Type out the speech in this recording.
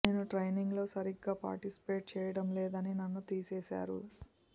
నేను ట్రైనింగ్ లో సరిగ్గా పార్టిసిపేట్ చెయ్యడం లేదని నన్ను తీసివేశారు